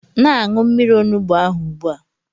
Na-aṅụ mmiri onugbu ahụ ugbu a!